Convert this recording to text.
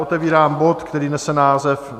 Otevírám bod, který nese název